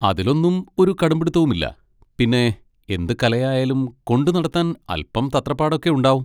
അതിലൊന്നും ഒരു കടുമ്പിടുത്തവുമില്ല. പിന്നെ, എന്ത് കലയായാലും കൊണ്ടുനടത്താൻ അല്പം തത്രപ്പാടൊക്കെ ഉണ്ടാവും.